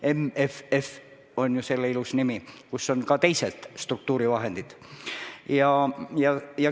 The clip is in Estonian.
MFF on ju selle raami ilus nimi, kus on ka teised struktuurivahendid.